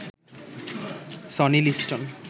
Sony Liston